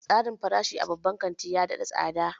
Tsarin farashi a babban kantin ya nada tsada.